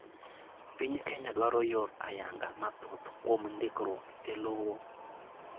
Piny Kenya dwaro yor ayanga mathoth kuom ndikruok elowo.